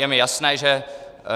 Je mi jasné, že